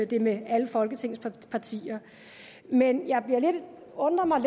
det med alle folketingets partier men jeg undrer mig